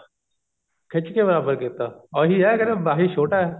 ਖਿੱਚ ਕੇ ਬਰਾਬਰ ਕੀਤਾ ਉਹੀ ਆ ਵੀ ਮਾਹੀ ਛੋਟਾ